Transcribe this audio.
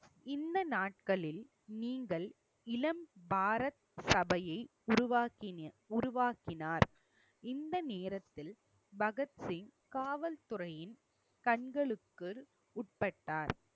இந்த நாட்களில் நீங்கள் இளம் பாரத் சபையை உருவாக்கின~ உருவாக்கினார். இந்த நேரத்தில் பகத்சிங் காவல்துறையின் கண்களுக்கு உட்பட்டார்